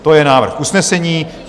To je návrh usnesení.